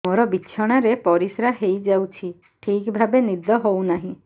ମୋର ବିଛଣାରେ ପରିସ୍ରା ହେଇଯାଉଛି ଠିକ ଭାବେ ନିଦ ହଉ ନାହିଁ